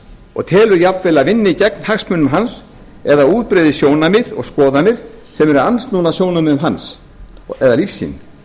og telur jafnvel að vinni gegn hagsmunum hans eða útbreiði sjónarmið og skoðanir sem eru andsnúnar sjónarmiðum hans eða lífssýn